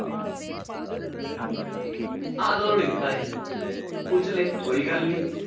ਆਹ ਦੋਨੋ ਨਹੀਂ ਦਿੱਤਾ ਹੈ। ਪੁੱਛ ਲਏ ਕੋਈ ਗੱਲ ਨਹੀਂ।